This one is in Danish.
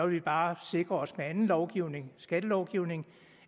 vi bare sikre os med anden lovgivning skattelovgivning